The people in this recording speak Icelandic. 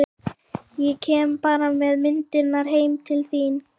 Ég kem bara með myndirnar heim til þín.